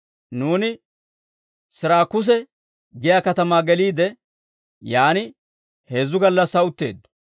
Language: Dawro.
Nuuni Siraakuse giyaa katamaa geliide, yaan heezzu gallassaa utteeddo.